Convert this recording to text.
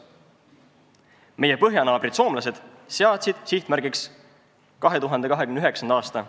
Meie põhjanaabrid soomlased on seadnud sihtmärgiks 2019. aasta.